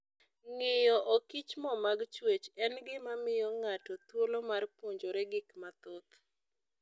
Ng'iyo okichmo mag chwech en gima miyo ng'ato thuolo mar puonjore gik mathoth.